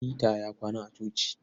Peter ya kwana a coci.